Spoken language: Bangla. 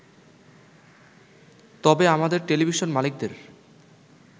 তবে আমাদের টেলিভিশন মালিকদের